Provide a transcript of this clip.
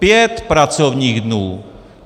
Pět pracovních dnů!